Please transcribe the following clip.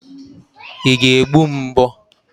Ị ga-egbu m mbọ?